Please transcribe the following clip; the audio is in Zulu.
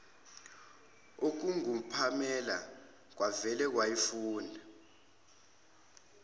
okungupamela kwavele kwayifunda